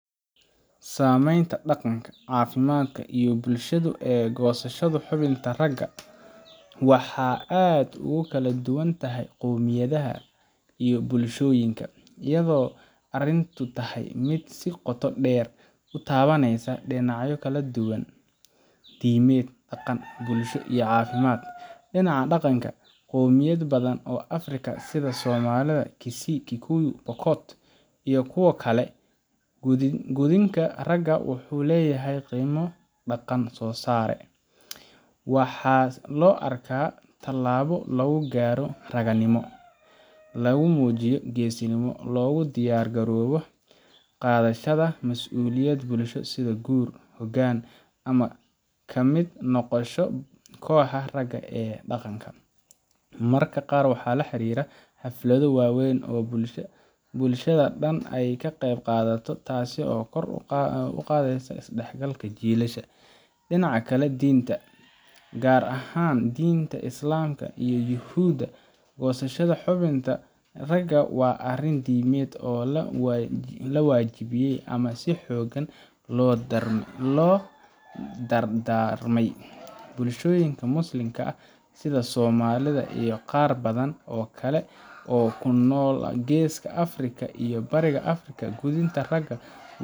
Saamaynta dhaqanka, caafimaadka, iyo bulshadu ee goosashada xubinta ragga waxay aad ugu kala duwan tahay qowmiyadaha iyo bulshooyinka, iyadoo arrintu tahay mid si qoto dheer u taabanaysa dhinacyo kala duwan: diimeed, dhaqan, bulsho, iyo caafimaad. Dhinaca dhaqanka, qowmiyado badan oo Afrika ah sida Somalida, Kisii, Kikuyu, Pokot, iyo kuwa kale gudniinka ragga wuxuu leeyahay qiimo dhaqan oo sare. Waxaa loo arkaa tallaabo lagu gaaro ragannimo, lagu muujiyo geesinimo, looguna diyaar garoobo qaadashada masuuliyad bulsho sida guur, hoggaan ama ka mid noqoshada kooxaha ragga ee dhaqanka. Mararka qaar waxaa lala xiriiriyaa xaflado waaweyn oo bulshada dhan ay ka qaybqaadato, taas oo kor u qaadaysa isdhexgalka jiilasha. Dhinaca diinta, gaar ahaan diinta Islaamka iyo Yuhuudda, goosashada xubinta ragga waa arrin diimeed oo la waajibiyay ama si xooggan loo dardaarmay. Bulshooyinka muslimiinta ah, sida Soomaalida iyo qaar badan oo kale oo ku nool Geeska Afrika iyo Bariga Afrika, gudniinka ragga